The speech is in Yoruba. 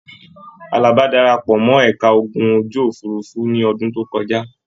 Àlàbá dara pọ̀ mọ́ ẹ̀ka ogun ojú-òfurufú ní ọdún tó kọjá.